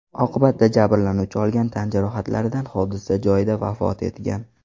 Oqibatda jabrlanuvchi olgan tan jarohatlaridan hodisa joyida vafot etgan.